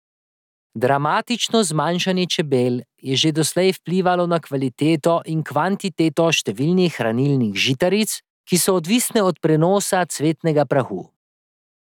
Dramatično zmanjšanje čebel je že doslej vplivalo na kvaliteto in kvantiteto številnih hranilnih žitaric, ki so odvisne od prenosa cvetnega prahu.